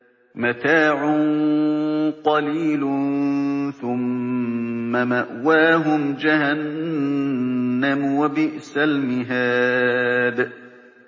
مَتَاعٌ قَلِيلٌ ثُمَّ مَأْوَاهُمْ جَهَنَّمُ ۚ وَبِئْسَ الْمِهَادُ